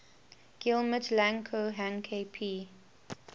guillemets lang ko hang kp